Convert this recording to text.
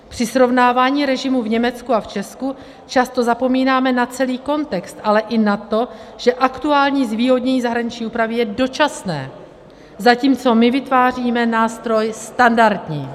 Při srovnání režimu v Německu a v Česku často zapomínáme na celý kontext, ale i na to, že aktuální zvýhodnění zahraniční úpravy je dočasné, zatímco my vytváříme nástroj standardní.